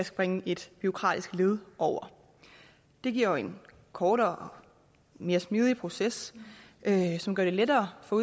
springe et bureaukratisk led over det giver jo en kortere og mere smidig proces som gør det lettere for